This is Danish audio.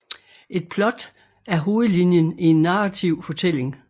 Et plot er hovedlinjen i en narrativ fortælling